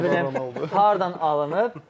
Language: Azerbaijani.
Nə bilim, hardan alınıb.